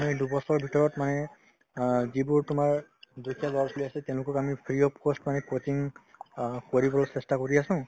কমেও এই দুবছৰৰ ভিতৰত মানে অ যিবোৰ তোমাৰ দুখীয়া ল'ৰা-ছোৱালী আছে তেওঁলোকক আমি free of cost মানে coaching অ কৰিবলৈ চেষ্টা কৰি আছো